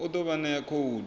u ḓo vha ṋea khoudu